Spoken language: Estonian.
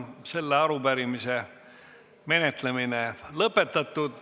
Selle arupärimise menetlemine on lõpetatud.